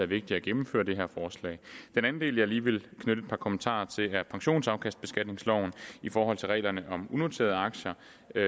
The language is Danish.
vigtigt at gennemføre det her forslag den anden del jeg lige vil knytte et par kommentarer til er pensionsafkastbeskatningsloven i forhold til reglerne om unoterede aktier